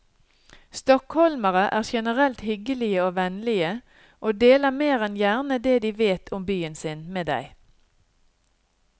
Stockholmerne er generelt hyggelige og vennlige, og deler mer enn gjerne det de vet om byen sin med deg.